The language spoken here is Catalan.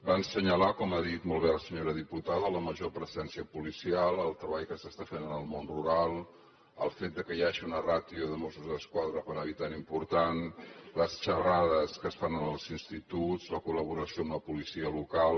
van assenyalar com ha dit molt bé la senyora diputada la major presència policial el treball que s’està fent en el món rural el fet que hi hagi una ràtio de mossos d’esquadra per habitant important les xerrades que es fan en els instituts la collaboració amb la policia local